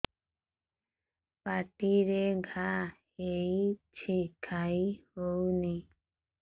ପାଟିରେ ଘା ହେଇଛି ଖାଇ ହଉନି